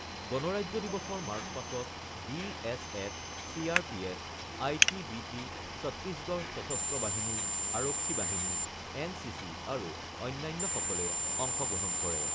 গণৰাজ্য দিৱসৰ মাৰ্চপাষ্টত B S F, C R P F, I T B P, Chhattisgarh সশস্ত্ৰ বাহিনী, আৰক্ষী বাহিনী, এন চি চি আৰু অন্যান্যসকলে অংশগ্ৰহণ কৰে।